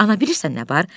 Ana, bilirsən nə var?